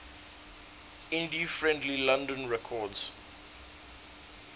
indie friendly london records